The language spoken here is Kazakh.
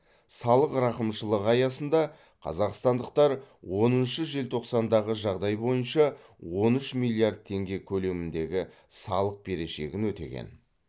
салық рақымшылығы аясында қазақстандықтар оныншы желтоқсандағы жағдай бойынша он үш миллиард теңге көлеміндегі салық берешегін өтеген